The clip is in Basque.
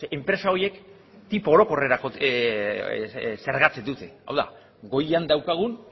enpresa horiek tipo orokorrerako zergatzen dute hau da goian daukagun